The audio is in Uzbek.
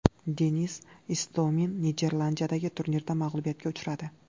Denis Istomin Niderlandiyadagi turnirda mag‘lubiyatga uchradi.